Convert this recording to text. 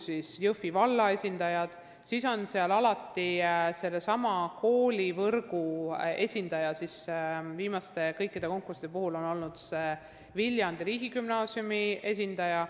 Seal on alati olnud ka koolivõrgu esindaja, kelleks on kõikide viimaste konkursside puhul olnud Viljandi riigigümnaasiumi esindaja.